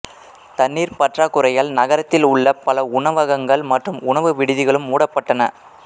தண்ணீர் பற்றாக்குறையால் நகரத்தில் உள்ள பல உணவகங்கள் மற்றும் உணவு விடுதிகளும் மூடப்பட்டன